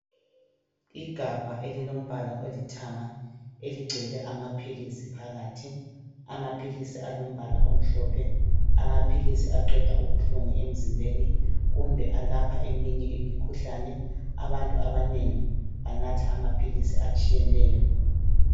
Igabha elimbala olithanga elingcwele amapills phakathi amapills alombala omhlophe amapills aqeda ubuhlungu emzimbeni kumbe alapha iminye imikhuhlane abantu abanengi bagula imikhuhlane etshiyeneyo